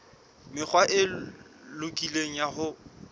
mekgwa e lokileng ya ho